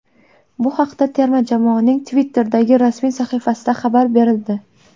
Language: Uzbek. Bu haqda terma jamoaning Twitter’dagi rasmiy sahifasida xabar berildi.